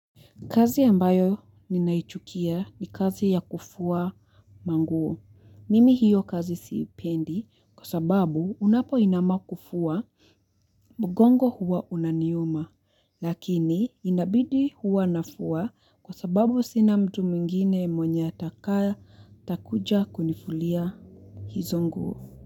Kazi ambayo ninaichukia ni kazi ya kufua manguo. Mimi hiyo kazi siipendi kwa sababu unapo inama kufua mgongo huwa unaniuma. Lakini inabidi huwa nafua kwa sababu sina mtu mwingine mwenye atakaa atakuja kunifulia hizo nguo.